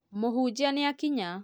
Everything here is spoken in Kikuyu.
Mũhunjia nĩ akinya